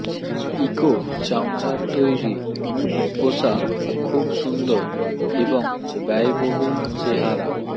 eco চামড়ার তৈরি পোষাক খুব সুন্দর এবং ব্যয়বহুল চেহারা